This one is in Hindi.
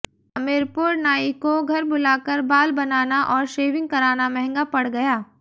हमीरपुरः नाई को घर बुलाकर बाल बनाना और शेविंग कराना महंगा पड़ गया